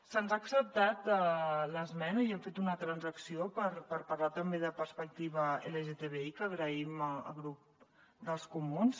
se’ns ha acceptat l’esmena i hem fet una transacció per parlar també de perspectiva lgtbi que agraïm al grup dels comuns